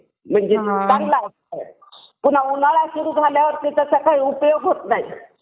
बहुतेक वाहनांसाठीएक सामान्य सर्व साधारण अनिवार्य अधिकची रक्कम असते दुचाकी वाहनांसाठी रुपये पन्नास पासून ते खाजगी गाड्या आणि व्यवसायिक वाहने